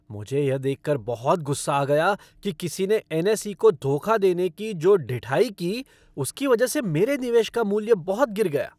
मुझे यह देख कर बहुत गुस्सा आ गया कि किसी ने एन.एस.ई. को धोखा देने की जो ढिठाई की उसकी वजह से मेरे निवेश का मूल्य बहुत गिर गया।